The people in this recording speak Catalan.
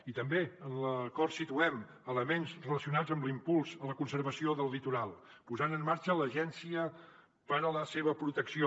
i també en l’acord situem elements relacionats amb l’impuls a la conservació del litoral posant en marxa l’agència per a la seva protecció